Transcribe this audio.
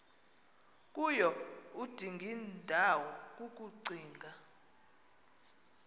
kuyo udingindawo kukucinga